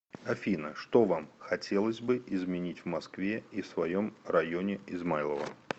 афина что вам хотелось бы изменить в москве и в своем районе измайлово